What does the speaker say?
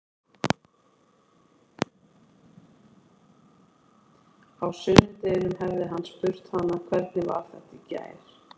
Á sunnudeginum hefði hann spurt hana: Hvernig var þetta í gær?